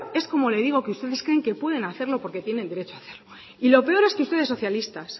es como le digo que ustedes creen que pueden hacerlo porque tienen derecho a hacerlo y lo peor es que ustedes socialistas